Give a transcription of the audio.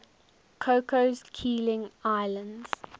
cocos keeling islands